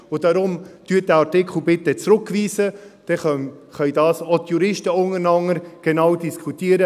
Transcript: Und darum: bitte weisen Sie diesen Artikel bitte zurück, dann können das auch die Juristen untereinander genauer diskutieren.